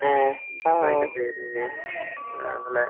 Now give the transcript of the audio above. ഉം ആഹ്